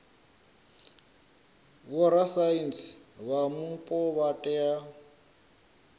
vhorasaintsi vha mupo vha tea